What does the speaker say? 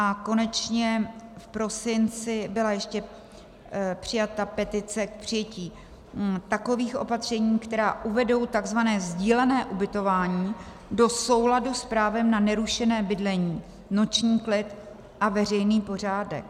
A konečně v prosinci byla ještě přijata petice k přijetí takových opatření, která uvedou tzv. sdílené ubytování do souladu s právem na nerušené bydlení, noční klid a veřejný pořádek.